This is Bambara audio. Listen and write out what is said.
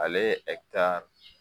Ale